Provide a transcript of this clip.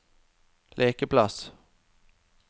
lekeplass